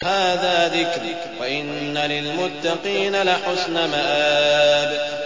هَٰذَا ذِكْرٌ ۚ وَإِنَّ لِلْمُتَّقِينَ لَحُسْنَ مَآبٍ